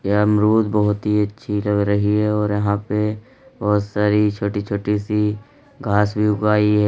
यह अमरूद बहुत ही अच्छी लग रही है और यहां पे बहुत सारी छोटी छोटी सी घास भी उगाई है।